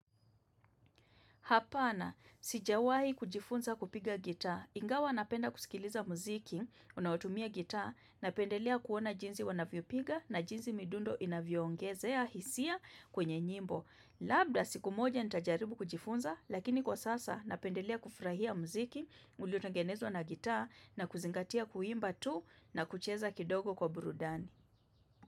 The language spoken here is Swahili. Hapana, sijawahi kujifunza kupiga gita. Ingawa napenda kusikiliza muziki, unaotumia gita, napendelea kuona jinsi wanavyopiga na jinsi midundo inavyoongezea hisia kwenye nyimbo. Labda, siku moja nitajaribu kujifunza, lakini kwa sasa napendelea kufurahia muziki, uliotengenezwa na gita na kuzingatia kuimba tu na kucheza kidogo kwa burudani.